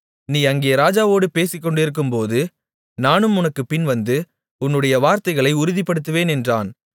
நீ அங்கே ராஜாவோடு பேசிக்கொண்டிருக்கும்போது நானும் உனக்குப் பின்வந்து உன்னுடைய வார்த்தைகளை உறுதிப்படுத்துவேன் என்றான்